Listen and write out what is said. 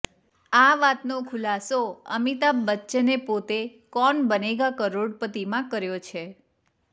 આ વાતનો ખુલાસો અમિતાભ બચ્ચને પોતે કૌન બનેગા કરોડપતિમાં કર્યો છે